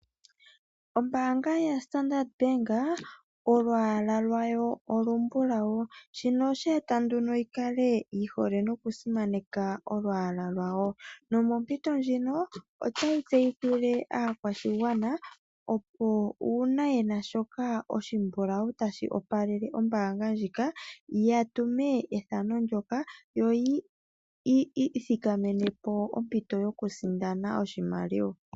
Ombaanga yaStandard Bank olwaala lwayo olumbulau, shika oshe eta nduno yi hole nokusimaneka olwaala lwayo. Mompito ndjino otayi aakwashigwana, opo uuna ye na shoka oshimbulau tashi opalele ombaanga ndjika ya tume ethano ndyoka yo yi imonene ompito yokusindana oshimaliwa.